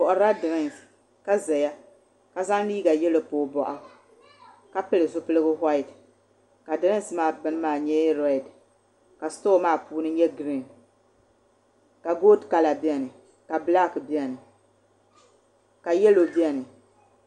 O koharila dirinks ka ʒɛya ka zaŋ liiga yɛlo pa o boɣu ka pili zipiligu whait ka dirinks maa bini maa nyɛ rɛd ka stoo maa puuni ni nyɛ giriin ka gool kala biɛni ka bilaki biɛni ka yɛlo biɛni